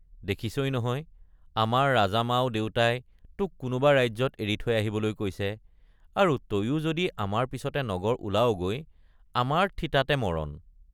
দেখিছই নহয় আমাৰ ৰাজামাও দেউতাই তোক কোনোবা ৰাজ্যত এৰি থৈ আহিবলৈ কৈছে আৰু তয়ো যদি আমাৰ পিছতে নগৰ ওলাৱগৈ আমাৰ থিতাতে মৰণ।